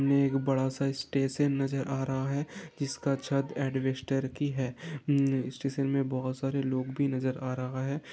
बड़ा सा स्टेशन नज़र आ रहा है जिसका छत की है हम्म स्टेशन मैं बहुत सरे लोग भी नज़र आ रहा है।